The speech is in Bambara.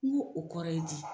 N ko o kɔrɔ ye di